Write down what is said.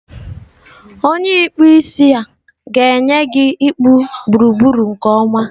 onye ikpụ isi a ga-enye gị ịkpụ gburugburu nke ọma.